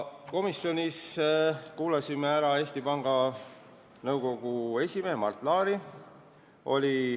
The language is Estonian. Komisjonis me kuulasime ära Eesti Panga Nõukogu esimehe Mart Laari.